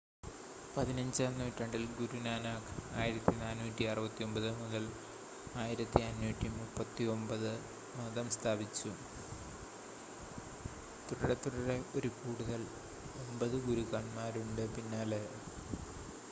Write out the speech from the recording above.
15 നൂറ്റാണ്ടിൽ ഗുരു നാനാക്ക് 1469–1539 മതം സ്ഥാപിച്ചു. തുടരെത്തുടരെ ഒരു കൂടുതൽ 9 ഗുരുക്കന്മാരുണ്ട് പിന്നാലെ